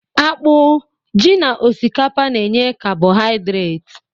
Akpụ, ji na osikapa na-enye kabọhiadret